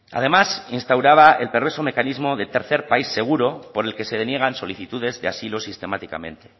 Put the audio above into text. además instauraba el perverso mecanismo de tercer país seguro por el que se deniegan solicitudes de asilo sistemáticamente